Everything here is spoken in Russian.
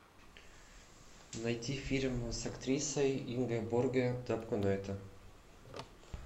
найти фильм с актрисой ингеборге дапкунайте